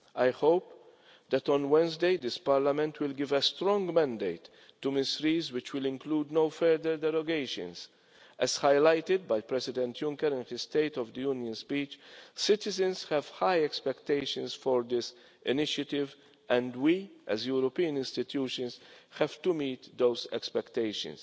I hope that on Wednesday this Parliament will give a strong mandate to Ms Ries which will include no further derogations. As highlighted by President Juncker in his State of the Union speech citizens have high expectations for this initiative and we, as European institutions, have to meet those expectations.'